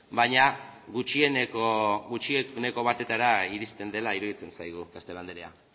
baina gutxieneko batetara iristen dela iruditzen zaigu castelo andrea